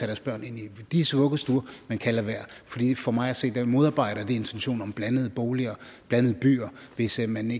deres børn ind i disse vuggestuer men kan lade være for mig at se modarbejder det intentionen om blandede boliger blandede byer hvis ikke man